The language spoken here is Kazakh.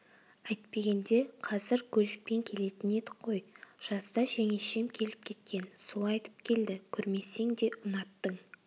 әйтпегенде қазір көлікпен келетін едік қой жазда жеңешем келіп кеткен сол айтып келді көрмесең де ұнаттың